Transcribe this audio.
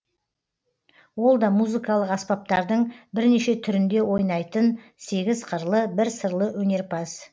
ол да музыкалық аспаптардың бірнеше түрінде ойнайтын сегіз қырлы бір сырлы өнерпаз